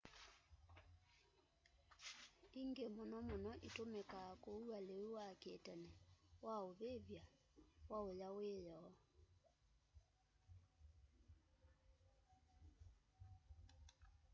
hangi mũno mũno ĩtũmĩkaa kũua lĩu wa kĩtene wa ũvĩvy'a waũya wĩyoo